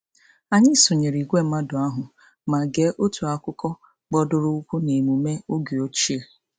Anyị sonyere ìgwè mmadụ ahụ ma gee otu akụkọ gbadoroụkwụ n'emume oge ochie.